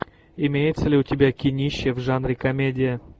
имеется ли у тебя кинище в жанре комедия